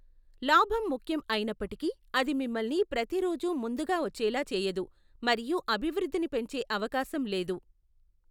లాభం ముఖ్యం అయినప్పటికీ, అది మిమ్మల్ని ప్రతిరోజూ ముందుగా వచ్చేలా చేయదు మరియు అభివృద్ధిని పెంచే అవకాశం లేదు.